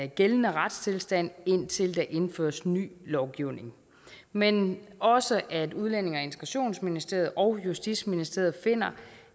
gældende retstilstand indtil der indføres ny lovgivning men også at udlændinge og integrationsministeriet og justitsministeriet finder